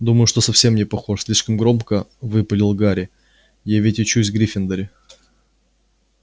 думаю что совсем не похож слишком громко выпалил гарри я ведь учусь в гриффиндоре